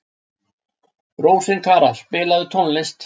Rósinkara, spilaðu tónlist.